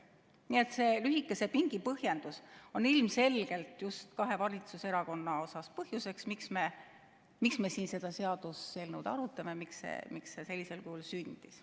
Nii et lühikese pingi põhjendus on ilmselgelt just kahe valitsuserakonna puhul põhjus, miks me siin seda seaduseelnõu arutame ja miks see sellisel kujul sündis.